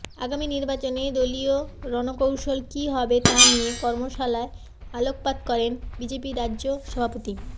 আগামী নির্বাচনে দলিয় রণকৌশল কি হবে তা নিয়ে কর্মশালায় আলোকপাত করেন বিজেপির রাজ্য সভাপতি